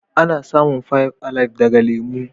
Ana samun "five alive " daga lemu.